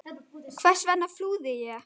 Hvers vegna flúði ég?